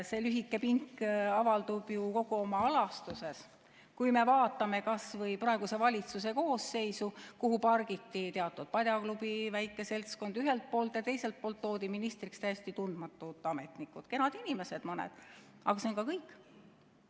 See lühike pink avaldub ju kogu oma alastuses, kui me vaatame kas või praeguse valitsuse koosseisu, kuhu pargiti teatud padjaklubi väike seltskond ühelt poolt ja teiselt poolt toodi ministriks täiesti tundmatud ametnikud, kenad inimesed mõned, aga see on ka kõik.